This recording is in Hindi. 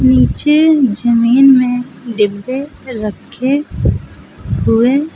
पीछे जमीन में डिब्बे रखे हुए--